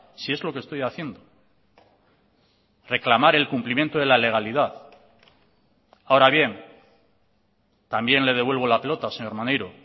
si es lo que estoy haciendo reclamar el cumplimiento de la legalidad ahora bien también le devuelvo la pelota señor maneiro